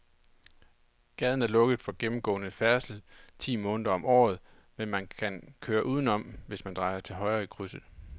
Gaden er lukket for gennemgående færdsel ti måneder om året, men man kan køre udenom, hvis man drejer til højre i krydset.